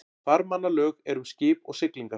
Farmannalög eru um skip og siglingar.